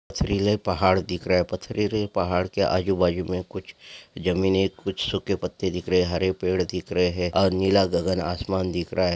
पथरीले पहाड़ दिख रहे पथरे रे पहाड़ के अजूबाजुमे कुच्छ जमीने कुछ सूखे पत्ते दिख रहे है हरे पेड़ दिख रहे है और नीला गगन आसमान दिख रहा है।